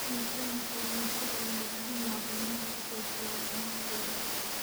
Miisaanka kalluunka ayaa bixiya macluumaad ku saabsan caafimaadkooda.